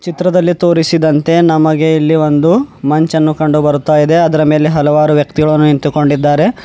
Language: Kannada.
ಚಿತ್ರದಲ್ಲಿ ತೋರಿಸಿದಂತೆ ನಮಗೆ ಇಲ್ಲಿ ಒಂದು ಮಂಚ್ ಅನ್ನು ಕಂಡು ಬರುತ ಇದೆ ಅದರ ಮೇಲೆ ಹಲವಾರು ವ್ಯಕ್ತಿಗಳು ನಿಂತು ಕೊಂಡಿದ್ದಾರೆ.